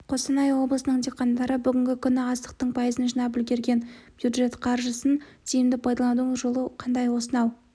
қостанай облысының диқандары бүгінгі күні астықтың пайызын жинап үлгерген бюджет қаржысын тиімді пайдаланудың жолы қандай осынау